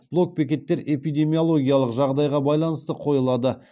блок бекеттер эпидемиялогиялық жағдайға байланысты қойылады